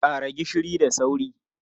Ƙara gishiri da sauri!